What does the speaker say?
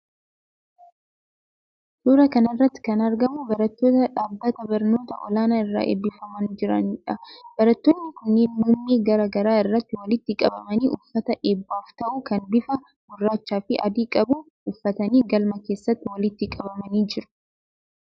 Suuraa kana irratti kan argamu barattoota dhaabbata barnoota olaanoo irraa eebbifamaa jiraniidha. Barattoonni kunneen muummee garaa garaa irraa walitti qabamanii, uffata eebbaaf ta'u kan bifa gurraachaafi adii qabu uffatanii galma keessatti walitti qabamanii jiru.